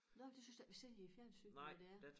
Nåh det synes jeg da ikke vi ser i æ fjernsyn hvad det er